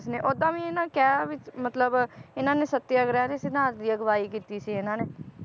ਓਦਾਂ ਵੀ ਇਹਨਾਂ ਨੇ ਕਿਹਾ ਵੀ ਮਤਲਬ ਇਹਨਾਂ ਨੇ ਸਤਿਆਗ੍ਰਹਿ ਦੇ ਸਿਧਾਂਤ ਦੀ ਅਗਵਾਈ ਕੀਤੀ ਸੀ ਇਹਨਾਂ ਨੇ